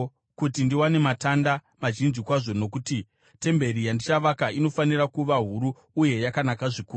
kuti ndiwane matanda mazhinji kwazvo nokuti temberi yandichavaka inofanira kuva huru uye yakanaka zvikuru.